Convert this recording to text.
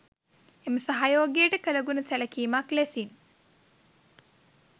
එම සහයෝගයට කලගුණ සැලකිමක් ලෙසින්